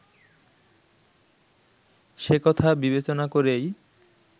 সেকথা বিবেচনা করেই